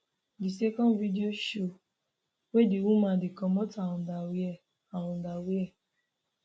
di second video show wia di woman dey comot her underwear her underwear